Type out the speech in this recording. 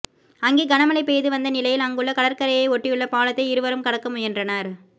அங்கே கனமழை பெய்து வந்த நிலையில் அங்குள்ள கடற்கரையை ஓட்டியுள்ள பாலத்தை இருவரும் கடக்க முயன்றனர்